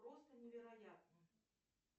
просто невероятно